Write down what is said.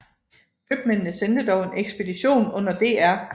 Købmændene sendte dog en ekspedition under dr